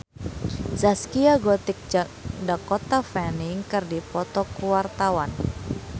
Zaskia Gotik jeung Dakota Fanning keur dipoto ku wartawan